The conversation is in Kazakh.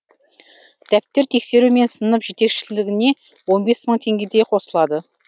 дәптер тексеру мен сынып жетекшілігіне он бес мың теңгедей қосылады